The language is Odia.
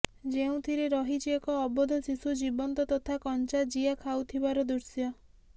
ଯେଉଁଥିରେ ରହିଛି ଏକ ଅବୋଧ ଶିଶୁ ଜୀବନ୍ତ ତଥା କଂଚା ଜିଆ ଖାଉଥିବାର ଦୃଶ୍ୟ